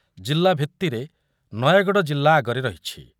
ଜିଲ୍ଲା ଭିତ୍ତିରେ ନୟାଗଡ଼ ଜିଲ୍ଲା ଆଗରେ ରହିଛି ।